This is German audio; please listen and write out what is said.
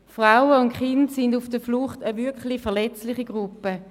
Frauen und Kinder auf der Flucht sind eine wirklich verletzliche Gruppe.